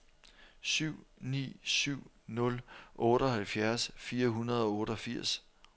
syv ni syv nul otteoghalvfjerds fire hundrede og otteogfirs